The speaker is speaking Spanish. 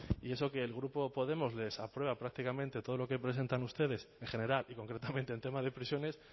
y eso que el grupo podemos les aprueba prácticamente todo lo que presentan ustedes en general y concretamente en temas de prisiones